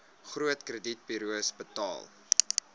groot kredietburos betaal